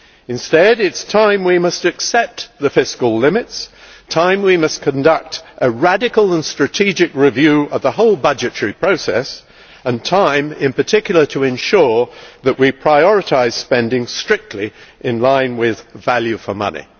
Instead, it is time we accept the fiscal limits, time we conduct a radical and strategic review of the whole budgetary process and time, in particular, to ensure that we prioritise spending strictly in line with value for money.